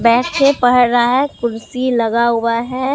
बैठ के पढ़ रहा है कुर्सी लगा हुआ है।